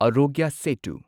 Aarogya Setu